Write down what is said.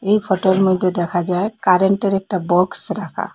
এই ফটোর মধ্যে দেখা যায় কারেন্টের একটা বক্স রাখা।